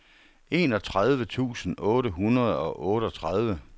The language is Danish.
enogtredive tusind otte hundrede og otteogtredive